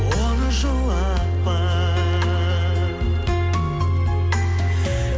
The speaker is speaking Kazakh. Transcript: оны жылатпа